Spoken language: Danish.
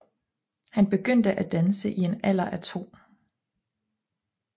Han begyndte at danse i en alder af to